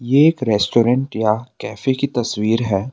एक रेस्टोरेंट या कैफे की तस्वीर है।